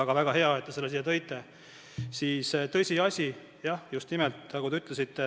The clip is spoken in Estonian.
Aga väga hea, et te selle teema siia tõite.